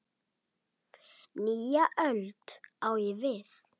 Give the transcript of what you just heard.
Nýja öld, á ég við.